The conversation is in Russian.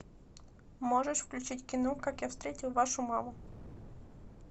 можешь включить кино как я встретил вашу маму